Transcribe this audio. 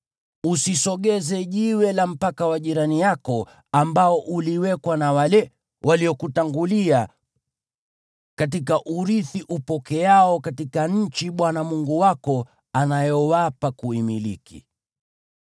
Usisogeze jiwe la mpaka wa jirani yako ambao uliwekwa na wale waliokutangulia katika urithi upokeao katika nchi Bwana Mungu wako anayowapa kuimiliki.